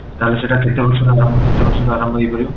ତାହେଲେ ସେଟା କେତେ ବର୍ଷରୁ ମାନେ ଆରମ୍ଭ ହେଇପାରିବ?